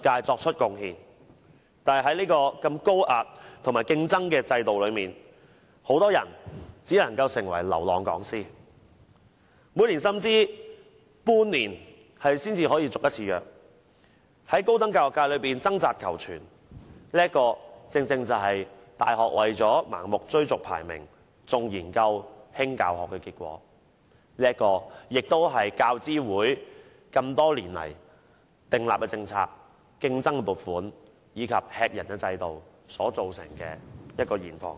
但是，在如此高壓和高度競爭的制度下，很多人只能成為流浪講師，每年甚至半年才能獲續約一次，在高等教育界中掙扎求存，這正是大學為了盲目追逐排名，重研究、輕教學的結果，亦是教資會多年來訂立的政策，大家競爭撥款，這是駭人的制度造成的現況。